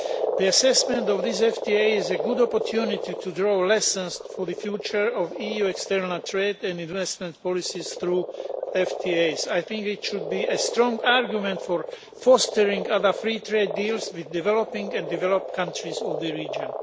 The assessment of this FTA is a good opportunity to draw lessons for the future of EU external trade and investment policies through FTAs. I think it should be a strong argument for fostering other free trade deals with developing and developed countries in the region.